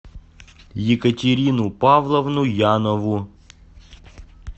екатерину павловну янову